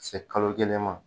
Ka se kalo kelen ma